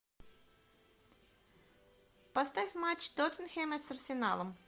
поставь матч тоттенхэма с арсеналом